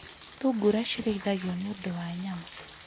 Thungura cirĩithagio nĩ ũndũ wa nyama.